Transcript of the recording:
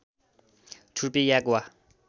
छुर्पी yak वा